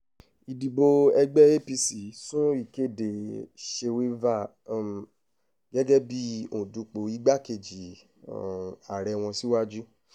ìdìbò ẹgbẹ́ apc sún ìkéde shewilva um gẹ́gẹ́ bíi òǹdùpọ̀ igbákejì um ààrẹ wọn síwájú